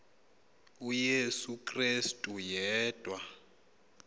uyesu krestu yedwa